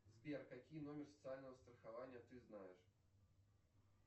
сбер какие номер социального страхования ты знаешь